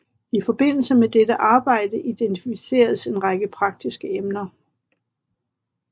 I forbindelse med dette arbejde identificeredes en række praktiske emner